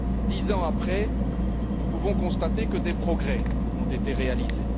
Dix ans après, nous pouvons constater que des progrès ont été réalisés.